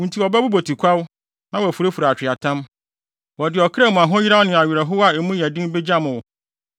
Wo nti wɔbɛbobɔ tikwaw na wɔafurafura atweaatam. Wɔde ɔkra mu ahoyeraw ne awerɛhow a mu yɛ den begyam wo.